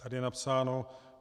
Tady je napsáno.